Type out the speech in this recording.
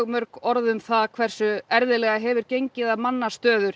mörg orð um hversu erfiðlega hefur gengið að manna stöður